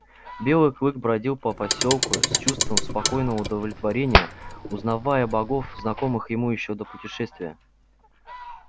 белый клык бродил по посёлку с чувством спокойного удовлетворения узнавая богов знакомых ему ещё до путешествия